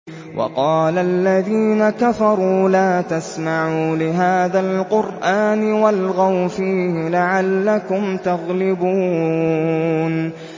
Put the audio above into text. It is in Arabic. وَقَالَ الَّذِينَ كَفَرُوا لَا تَسْمَعُوا لِهَٰذَا الْقُرْآنِ وَالْغَوْا فِيهِ لَعَلَّكُمْ تَغْلِبُونَ